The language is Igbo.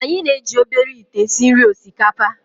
Anyị na-eji obere ite esi nri osikapa